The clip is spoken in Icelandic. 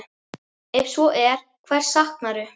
Ef svo er, hvers saknarðu?